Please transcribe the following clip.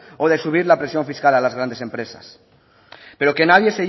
o de subir la presión fiscal a las grandes empresas pero que nadie